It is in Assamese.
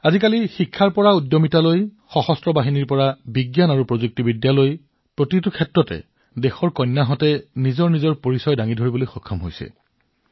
আজি শিক্ষাৰ পৰা উদ্যোগী সশস্ত্ৰ বাহিনীৰ পৰা বিজ্ঞান আৰু প্ৰযুক্তিলৈকে সকলো ঠাইতে দেশৰ কন্যাসকলে এক সুকীয়া পৰিচয় গঢ়িবলৈ সক্ষম হৈছে